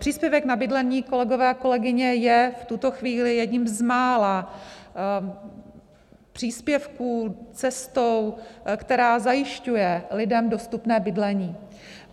Příspěvek na bydlení, kolegové a kolegyně, je v tuto chvíli jedním z mála příspěvků, cestou, která zajišťuje lidem dostupné bydlení.